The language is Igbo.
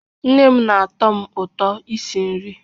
Nne m na-atọ m ụtọ isi nri